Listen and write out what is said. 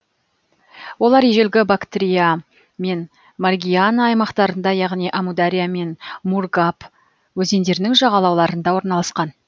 олар ежелгі бактрия мен маргиана аймақтарында яғни әмудария мен мургаб өзендерінің жағалауларында орналасқан